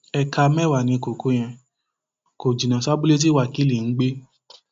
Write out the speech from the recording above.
éékà mẹwàá ni kókó yẹn kò jìnnà sí abúlé tí wákilì ń gbé